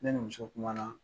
Ne ni muso kuma na